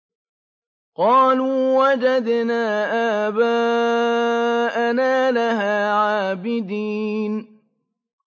قَالُوا وَجَدْنَا آبَاءَنَا لَهَا عَابِدِينَ